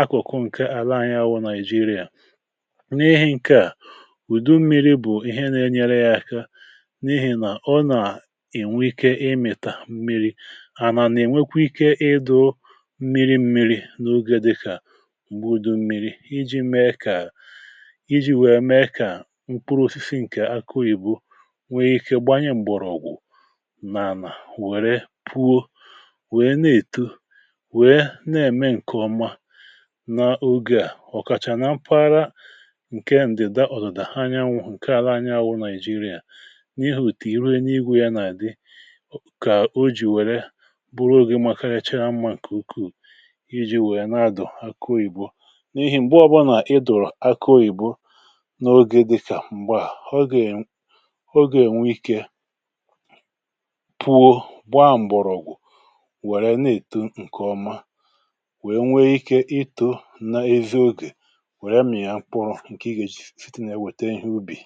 akụ̀kụ̀ ǹkè àla anyị anwụ nàị̀jịrịà ùdụ mmiri bụ̀ ihe na-enyere ya aka n’ihi nà ọ nà-ènwe ike ịmị̀tà mmiri̇ ànȧ nà ènwekwa ike ịdọ̇ mmiri̇ mmiri̇ n’oge dịkà ùgbùdụ mmiri̇ iji̇ mee kà iji̇ wèe mee kà mkpụrụ osisi ǹkè akọ ìbu nwee ike gbanye m̀gbọ̀rọ̀ n’ànà wère pụo wèe na-èto wèe na-ème ǹkè ọma n’ogė ọ̀kàchà na mpaghara ọ̀tàrà anyanwụ̀ ǹkè ara anya wụ̇ nàị̀jịrị̀à n’ihi ùtì irenu igwù ya nà-àdị kà o jì wère bụrụ ogė màkà ya chèa mma ǹkè ukwuu iji̇ wèe na-adụ̀ akụọ ìgbo n’ihi m̀gbe ọbụlà idụ̀rụ̀ akụọ ìgbo n’ogė dị̇kà m̀gbe à ọ gà-è n ogè nwe ikė pụ̇o gbaa m̀bọ̀rọ̀ọ̀ wère na-èto ǹkè ọma wèe nwee ikė ịtọ̇ n’ezi ogè wère m ya kpọrọ ǹgwaɔ́